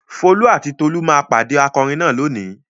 Folú àti Tolú máa pàdé akọrin náà lónìí.